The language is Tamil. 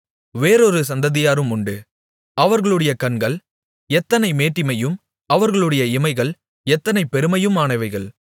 வேறொரு சந்ததியாரும் உண்டு அவர்களுடைய கண்கள் எத்தனை மேட்டிமையும் அவர்களுடைய இமைகள் எத்தனை பெருமையுமானவைகள்